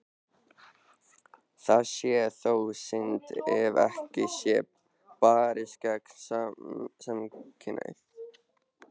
Það sé þó synd ef ekki sé barist gegn samkynhneigð.